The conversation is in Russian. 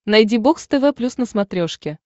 найди бокс тв плюс на смотрешке